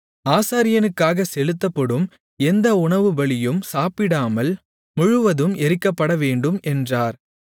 ஆசாரியனுக்காக செலுத்தப்படும் எந்த உணவுபலியும் சாப்பிடாமல் முழுவதும் எரிக்கப்படவேண்டும் என்றார்